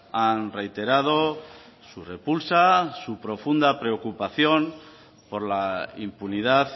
han reiterado su repulsa su profunda preocupación por la impunidad